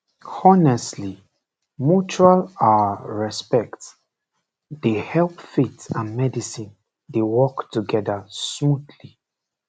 honestly mutual ah respect dey help faith and medicine dey work together smoothly